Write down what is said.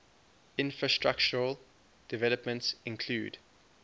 infrastructural developments include